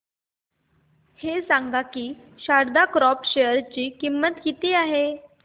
हे सांगा की शारदा क्रॉप च्या शेअर ची किंमत किती आहे